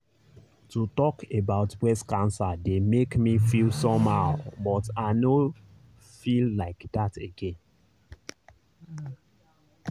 to talk about breast cancer dey make me feel somehow but i nor feel like that again.